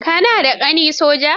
Ka na da ƙani soja?